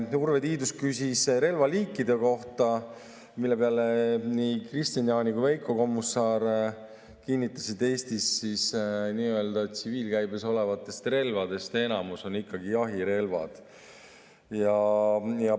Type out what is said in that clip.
Urve Tiidus küsis relvaliikide kohta, mille peale nii Kristian Jaani kui ka Veiko Kommusaar kinnitasid, et Eestis nii-öelda tsiviilkäibes olevatest relvadest enamus on jahirelvad.